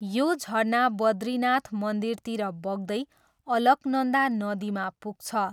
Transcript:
यो झरना बद्रीनाथ मन्दिरतिर बग्दै, अलकनन्दा नदीमा पुग्छ।